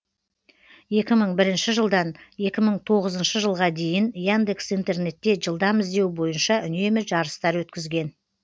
екі мың бірінші жылдан екі мың тоғызыншы жылға дейін яндекс интернетте жылдам іздеу бойынша үнемі жарыстар өткізген